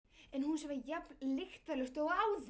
En húsið var jafn lyktarlaust og áður.